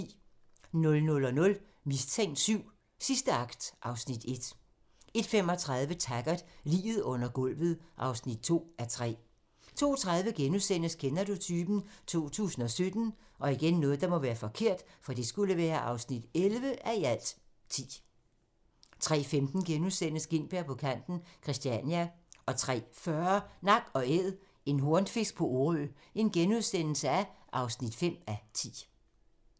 00:00: Mistænkt VII: Sidste akt (Afs. 1) 01:35: Taggart: Liget under gulvet (2:3) 02:30: Kender du typen? 2017 (11:10)* 03:15: Gintberg på kanten – Christiania * 03:40: Nak & Æd - en hornfisk på Orø (5:10)*